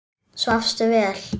Svafstu vel?